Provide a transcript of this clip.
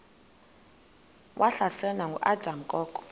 wahlaselwa nanguadam kok